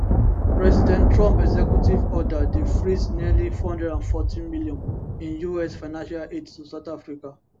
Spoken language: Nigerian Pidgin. president trump executive order dey freeze nearly 440 million in us financial aid to south africa